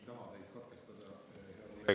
Palun 30 sekundit juurde.